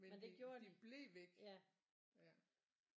Men de de blev væk ja